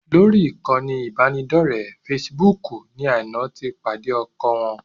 Lórí ìkànnì ìbánidọ́ọ̀rẹ́ fesibúùkù ni Aina ti pàdé ọkọ wọn